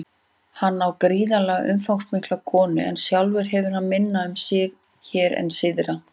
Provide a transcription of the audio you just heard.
Hann á gríðarlega umfangsmikla konu en sjálfur hefur hann minna um sig hér en syðra.